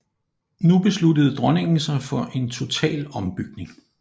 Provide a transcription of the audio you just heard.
Nu besluttede dronningen sig for en total ombygning